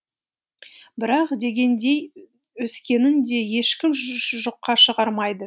бірақ дегендей өскенін де ешкім жоққа шығармайды